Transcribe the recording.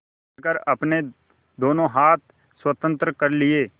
पकड़कर अपने दोनों हाथ स्वतंत्र कर लिए